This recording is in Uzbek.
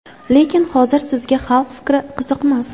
Lekin hozir sizga xalq fikri qiziqmas.